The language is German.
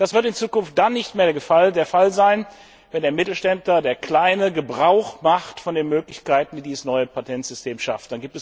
Das wird in Zukunft dann nicht mehr der Fall sein, wenn der Mittelständler, der Kleine, Gebrauch macht von den Möglichkeiten, die dieses neue Patentsystem schafft.